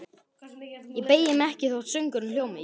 Ég beygi mig ekki þótt söngurinn hljómi